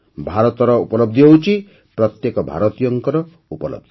ଭାରତର ଉପଲବଧି ହେଉଛି ପ୍ରତ୍ୟେକ ଭାରତୀୟର ଉପଲବଧି